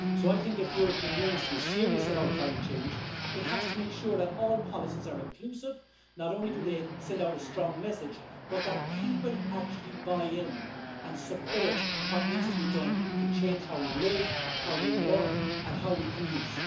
I think, if the European Union to be serious about climate change, it has to make sure that all policies are inclusive that not only do they send out a strong message, but that people actually buy in and support what needs to be done to change how we live, how we work, and how we commute.